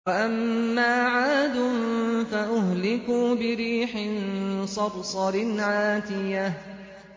وَأَمَّا عَادٌ فَأُهْلِكُوا بِرِيحٍ صَرْصَرٍ عَاتِيَةٍ